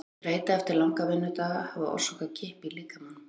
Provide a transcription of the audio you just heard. Þreyta eftir langa vinnudaga hafi orsakað kippi í líkamanum.